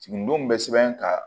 Siginidenw bɛ sɛbɛn ka